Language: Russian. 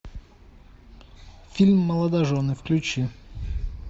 фильм молодожены включи